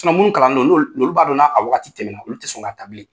Sina minnu kalandon olu b'a don n'a waati tɛmɛna , olu tɛ sɔn k'a ta.